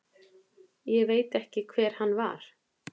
Ég veit ekki hver hann var.